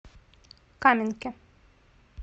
каменке